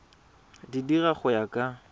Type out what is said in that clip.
di dira go ya ka